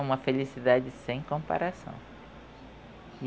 É uma felicidade sem comparação.